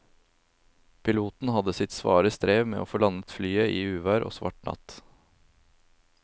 Piloten hadde sitt svare strev med å få landet flyet i uvær og svart natt.